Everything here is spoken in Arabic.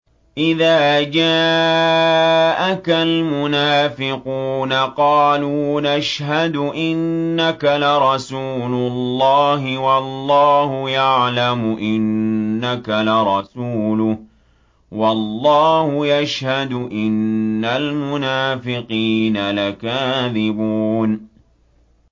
إِذَا جَاءَكَ الْمُنَافِقُونَ قَالُوا نَشْهَدُ إِنَّكَ لَرَسُولُ اللَّهِ ۗ وَاللَّهُ يَعْلَمُ إِنَّكَ لَرَسُولُهُ وَاللَّهُ يَشْهَدُ إِنَّ الْمُنَافِقِينَ لَكَاذِبُونَ